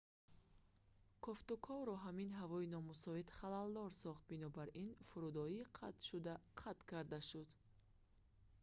кофтуковро ҳамин ҳавои номусоид халалдор сохт бинобар ин фурудоӣ қатъшуда қатъ карда шуд